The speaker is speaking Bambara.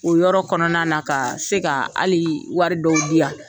O yɔrɔ kɔnɔna na, ka se ka, hali wari dɔw di ya.